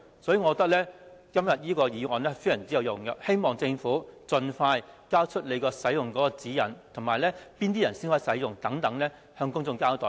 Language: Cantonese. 所以，今天的議案非常有用，希望政府盡快發出使用指引，表明哪些人才能使用，並要接受公眾監察。